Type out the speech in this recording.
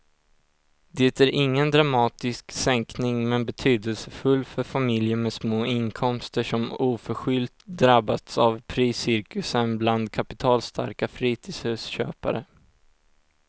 Det är ingen dramatisk sänkning men betydelsefull för familjer med små inkomster som oförskyllt drabbats av priscirkusen bland kapitalstarka fritidshusköpare.